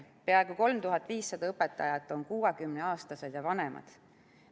Peaaegu 3500 õpetajat on 60-aastased ja vanemad.